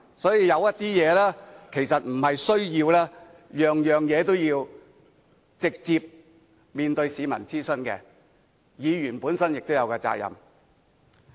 所以，有些事其實不需要直接面對市民作出諮詢，議員本身也有責任。